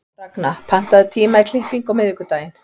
Ragna, pantaðu tíma í klippingu á miðvikudaginn.